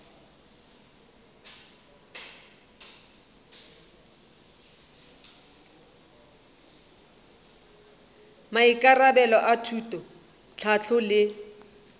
maikarabelo a thuto tlhahlo le